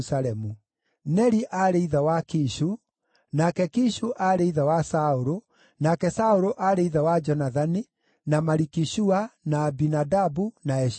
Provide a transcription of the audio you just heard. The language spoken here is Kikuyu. Neri aarĩ ithe wa Kishu, nake Kishu aarĩ ithe wa Saũlũ, nake Saũlũ aarĩ ithe wa Jonathani, na Maliki-Shua, na Abinadabu, na Eshi-Baali.